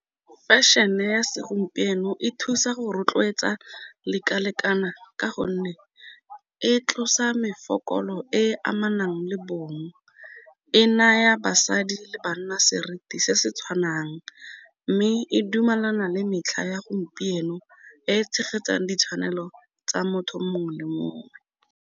Fashion-e ya segompieno e thusa go rotloetsa lekalekana, ka gonne e tlosa e e amanang le bong, e naya basadi le banna seriti se se tshwanang, mme e dumelana le metlha ya gompieno e e tshegetsang ditshwanelo tsa motho mongwe le mongwe.